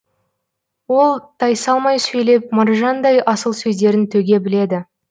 ол тайсалмай сөйлеп маржандай асыл сөздерін төге біледі